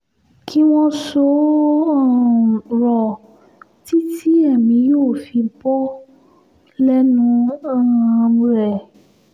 kí wọ́n so ó um rọ̀ títí èmi yóò fi bọ́ lẹ́nu um rẹ̀